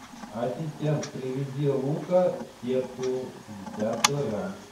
ассистент привези лука сетку пятьдесят килограмм